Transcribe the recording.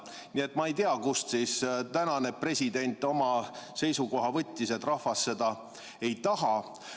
Nii et ma ei tea, kust tänane president on oma seisukoha võtnud, et rahvas seda ei taha.